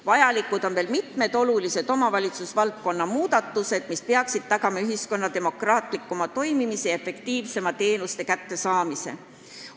Vajalikud on veel mitmed olulised omavalitsusvaldkonna muudatused, mis peaksid tagama ühiskonna demokraatlikuma toimimise ja efektiivsema teenuste osutamise.